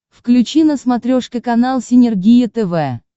включи на смотрешке канал синергия тв